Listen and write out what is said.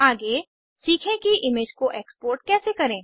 आगे सीखे कि इमेज को एक्सपोर्ट कैसे करें